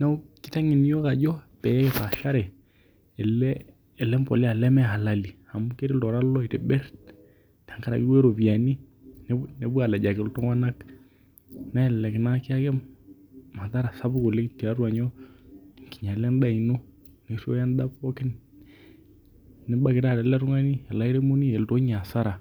Neeku kitengen iyiok ajo pee kipashare ele mboleya leme halali amuu ketij iltung'ana duo aitibir tenkaraki duo iropiani nepuo alejaki iltung'ana nelelek nina kiyaki madhara sapuk oleng' tiatua nyoo tiatua edaa ino ninyala edaa pookin nibaki ele tung'ani ele airemoni eleotu ninye hasara